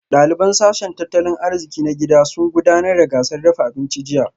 Daliban sashen tattalin arziki na gida sun gudanar da gasar dafa abinci a jiya